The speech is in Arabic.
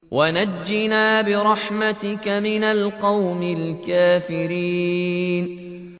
وَنَجِّنَا بِرَحْمَتِكَ مِنَ الْقَوْمِ الْكَافِرِينَ